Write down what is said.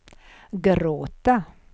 gråta